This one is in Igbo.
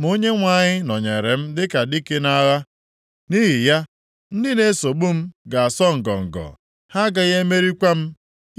Ma Onyenwe anyị nọnyeere m dịka dike nʼagha; nʼihi ya, ndị na-esogbu m ga-asọ ngọngọ, ha agaghị emerikwa m.